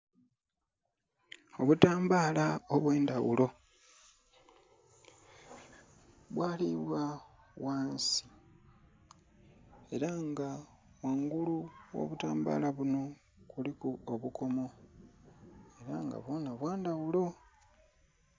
Obutambala obwe ndhaghulo bwalibwa ghansi era nga kungulu kwo obutambala bunho kuliku obukomo era nga bwona bwa ndhaghulo.